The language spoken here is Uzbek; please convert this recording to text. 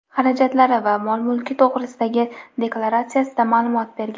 xarajatlari va mol-mulki to‘g‘risidagi deklaratsiyasida ma’lumot berilgan.